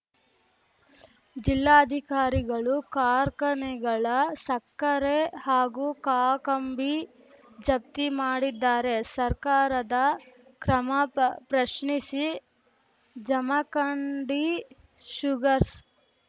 ಜಿಲ್ಲಾಧಿಕಾರಿಗಳು ಕಾರ್ಖಾನೆಗಳ ಸಕ್ಕರೆ ಹಾಗೂ ಕಾಕಂಬಿ ಜಪ್ತಿ ಮಾಡಿದ್ದಾರೆ ಸರ್ಕಾರದ ಕ್ರಮ ಪ್ರಶ್ನಿಸಿ ಜಮಖಂಡಿ ಶುಗರ್ಸ್